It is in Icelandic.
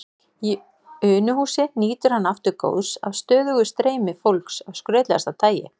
Í Unuhúsi nýtur hann aftur góðs af stöðugu streymi fólks af skrautlegasta tagi.